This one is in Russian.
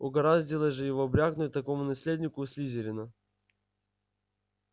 угораздило же его брякнуть такому наследнику слизерина